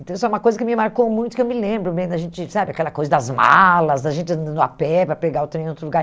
Então, isso é uma coisa que me marcou muito, que eu me lembro bem da gente sabe, aquela coisa das malas, da gente andando a pé para pegar o trem em outro lugar.